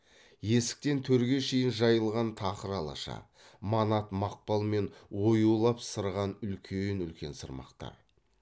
есіктен төрге шейін жайылған тақыр алаша манат мақпал мен оюлап сырған үлкен үлкен сырмақтар